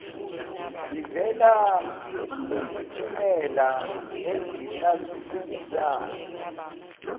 ivela kumiphumela ezihlaziyayo